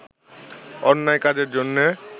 অন্যায় কাজের জন্যে